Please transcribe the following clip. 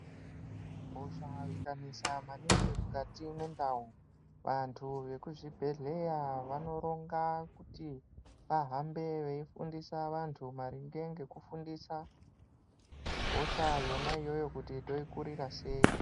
Hosha ikanesa maningi mukati mendau vantu vekuzvibhedhleya vanoronga kuti vahambe veifundisa vantu maringe nekufundisa vantu maringe nekufundisa hosha Yona iyoyo kuti toikurira sei.